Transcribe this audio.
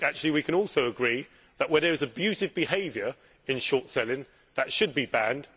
We can also agree that, where there is abusive behaviour in short selling, that should be banned.